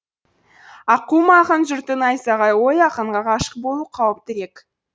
аққуым ақын жұрты найзағай ғой ақынға ғашық болу қауіптірек